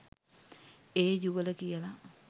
ඒ යුවල කියල.